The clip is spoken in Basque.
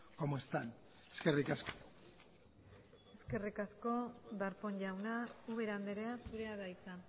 como están eskerrik asko eskerrik asko darpón jauna ubera andrea zurea da hitza